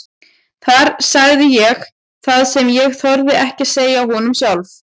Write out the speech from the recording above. Þar sagði ég það sem ég þorði ekki að segja honum sjálf.